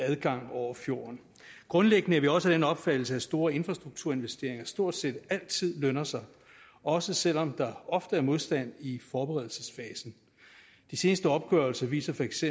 adgang over fjorden grundlæggende er vi også af den opfattelse at store infrastrukturinvesteringer stort set altid lønner sig også selv om der ofte er modstand i forberedelsesfasen de seneste opgørelser viser feks